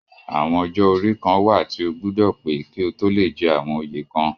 Àwọn ọjọ́-orí kàn wà tí o gbúdọ̀ pé kí o tó lé jẹ àwọn oyè kan